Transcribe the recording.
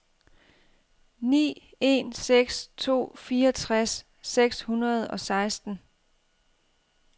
ni en seks to fireogtres seks hundrede og seksten